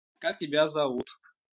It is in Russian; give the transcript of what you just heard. как тебя зовут